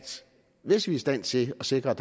hvis vi er i stand til at sikre at